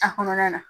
A kɔnɔna na